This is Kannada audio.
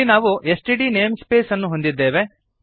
ಇಲ್ಲಿ ನಾವು ಎಸ್ಟಿಡಿ ನೇಮ್ಸ್ಪೇಸ್ ಅನ್ನು ಹೊಂದಿದ್ದೇವೆ